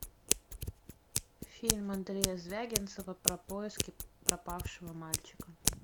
фильм андрея звягинцева про поиски пропавшего мальчика